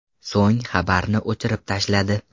So‘ng xabarni o‘chirib tashladi.